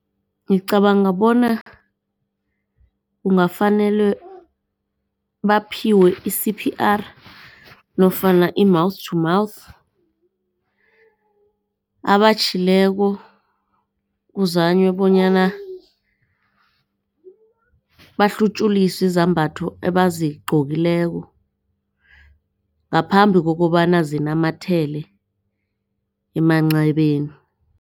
Ngicabanga bona kungafanele baphiwe i-C_P_R nofana i-mouth to mouth abatjhileko kuzaywe bonyana bahlutjuliswe izambatho ebazigqokileko ngaphambi kokobana zinamathele emancebeni.